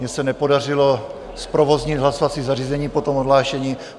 Mně se nepodařilo zprovoznit hlasovací zařízení po tom odhlášení.